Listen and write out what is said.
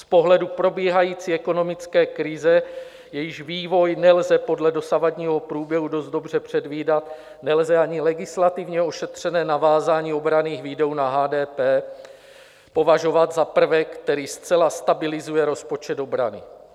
Z pohledu probíhající ekonomické krize, jejíž vývoj nelze podle dosavadního průběhu dost dobře předvídat, nelze ani legislativně ošetřené navázání obranných výdajů na HDP považovat za prvek, který zcela stabilizuje rozpočet obrany.